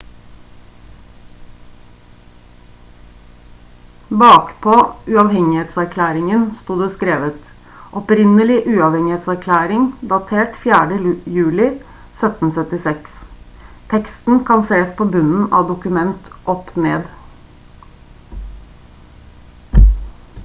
bakpå uavhengighetserklæringen sto det skrevet: «opprinnelig uavhengighetserklæring datert 4. juli 1776». teksten kan sees på bunnen av dokumentet opp ned